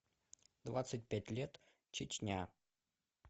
двадцать пять лет чечня